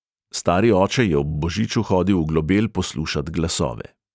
Stari oče je ob božiču hodil v globel poslušat glasove.